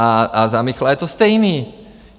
A za Michla je to stejný.